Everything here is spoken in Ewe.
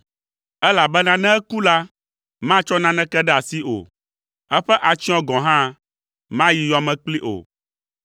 elabena ne eku la, matsɔ naneke ɖe asi o, eƒe atsyɔ̃ gɔ̃ hã mayi yɔ me kplii o.